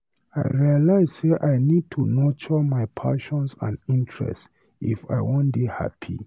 I realize sey I need to nurture my passions and interests if I wan dey happy.